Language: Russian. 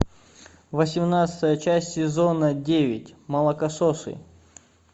восемнадцатая часть сезона девять молокососы